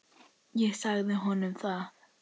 Ég sagði honum það!